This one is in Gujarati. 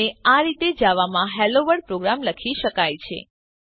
અને આ રીતે જાવામાં હેલોવર્લ્ડ પ્રોગ્રામ લખી શકાય છે